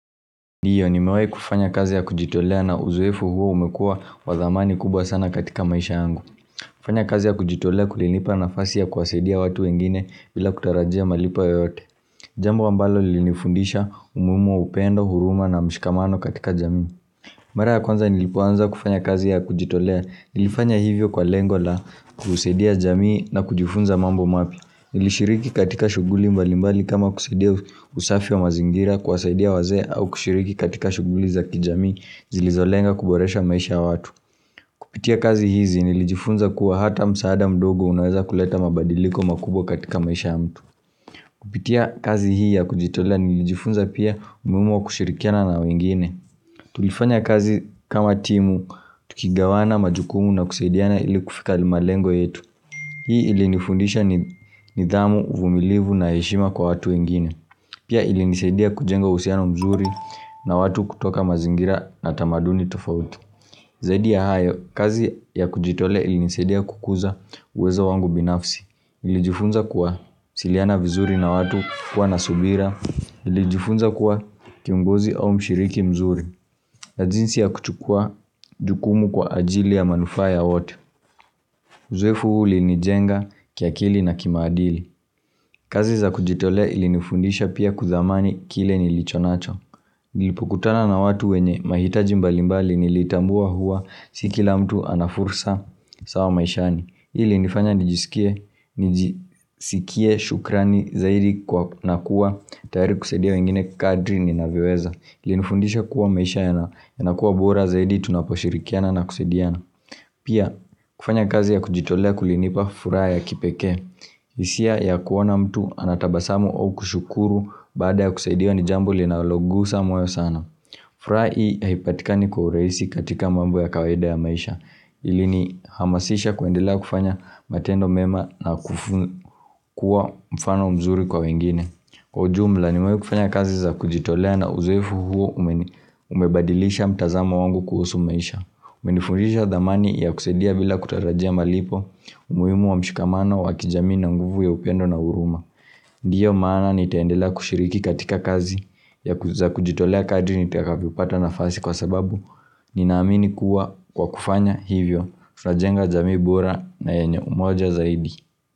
Ndiyo, nimewahi kufanya kazi ya kujitolea na uzoefu huo umekua wadhamani kubwa sana katika maisha angu. Kufanya kazi ya kujitolea kulinipa nafasi ya kuwasadia watu wengine bila kutarajia malipo yoyote. Jambo ambalo lilinifundisha umuhimu wa upendo, huruma na mshikamano katika jamii. Mara ya kwanza nilipoanza kufanya kazi ya kujitolea. Nilifanya hivyo kwa lengo la kusadia jamii na kujifunza mambo mapya. Nlishiriki katika shughuli mbalimbali kama kusaidia usafi wa mazingira kuwasaidia wazee au kushiriki katika shughuli za kijamii zilizolenga kuboresha maisha ya watu. Kupitia kazi hizi nilijifunza kuwa hata msaada mdogo unaweza kuleta mabadiliko makubwa katika maisha ya mtu. Kupitia kazi hii ya kujitolea nilijifunza pia umuhimu wa kushirikiana na wengine. Tulifanya kazi kama timu, tukigawana majukumu na kusaidiana ili kufika malengo yetu. Hii ilinifundisha nidhamu, uvumilivu na heshima kwa watu wengine. Pia ilinisaidia kujenga uhusiano mzuri na watu kutoka mazingira na tamaduni tofauti. Zaidi ya hayo, kazi ya kujitoa ilinisadia kukuza uwezo wangu binafsi. Nlijifunza kuwasiliana vizuri na watu kuwa na subira. Nlijifunza kuwa kiongozi au mshiriki mzuri. Na jinsi ya kuchukua jukumu kwa ajili ya manufaa ya wote Uzoefu huu ulinijenga kia akili na kimaandili kazi za kujitolea ili nifundisha pia kudhamani kile nilichonacho Nilipokutana na watu wenye mahitaji mbalimbali nilitambua hua si k la mtu anafursa sawa maishani ili nifanya nijisikie shukrani zaidi na kuwa tayari kusaidia wengine kadri ninavyoweza Ilini fundisha kuwa maisha yanakuwa bora zaidi tunaposhirikiana na kusaidiana Pia kufanya kazi ya kujitolea kulinipa furaha ya kipekee hisia ya kuona mtu anatabasamu au kushukuru Baada ya kusaidiwa ni jambo linalogusa moyo sana furaha hii haipatikani kwa urahisi katika mambo ya kawaida ya maisha ili ni hamasisha kuendela kufanya matendo mema na kuwa mfano mzuri kwa wengine Kwa ujumla nimewahi kufanya kazi za kujitolea na uzoefu huu umebadilisha mtazamo wangu kuhusu maisha umenifundisha dhamani ya kusadia bila kutarajia malipo umuhimu wa mshikamano wa kijamii na nguvu ya upendo na huruma Ndiyo maana nitaendela kushiriki katika kazi za kujitolea kadri nitakapo pata nafasi kwa sababu Ninaamini kuwa kwa kufanya hivyo tutajenga jamii bora na yenye umoja zaidi.